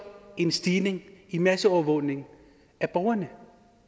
en stigende i masseovervågning af borgerne